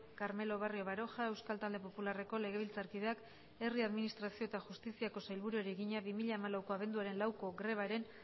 carmelo barrio baroja euskal talde popularreko legebiltzarkideak herri administrazio eta justiziako sailburuari egina bi mila hamalauko abenduaren lauko grebaren